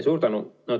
Suur tänu!